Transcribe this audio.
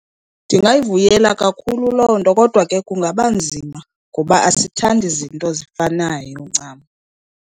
Ndingayivuyela kakhulu loo nto, kodwa ke kungaba nzima ngoba asithandi zinto zifanayo ncam.